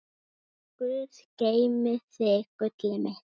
Guð geymi þig, gullið mitt.